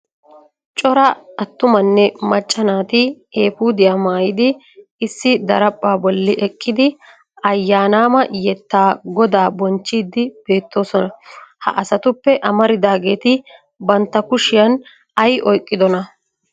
Cora attumanne macca naati eepudiya maayyidi issi daraphphpa bolli eqqidi aayyanama yettan godaa bonchchidi bettoosona. Ha asatuppe amaridaageeti bantta kushiyan ay oyqqidona?